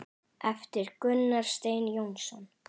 eftir Gunnar Stein Jónsson